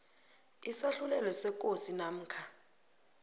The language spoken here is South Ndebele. isahlulelo sekosi namkha